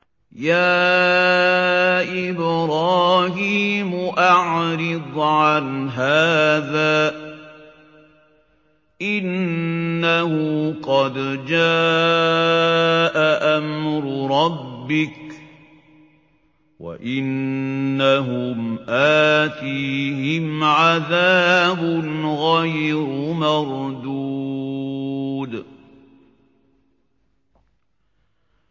يَا إِبْرَاهِيمُ أَعْرِضْ عَنْ هَٰذَا ۖ إِنَّهُ قَدْ جَاءَ أَمْرُ رَبِّكَ ۖ وَإِنَّهُمْ آتِيهِمْ عَذَابٌ غَيْرُ مَرْدُودٍ